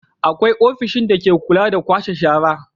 Akwai ofishin dake kula da kwashe shara.